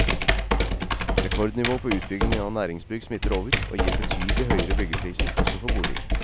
Rekordnivå på utbyggingen av næringsbygg smitter over, og gir betydelig høyere byggepriser også for boliger.